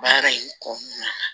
Baara in kɔnɔna na